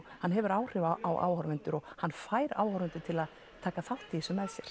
hann hefur áhrif á áhorfendur og hann fær áhorfendur til að taka þátt í